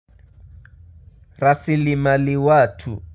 Rasili mali watu.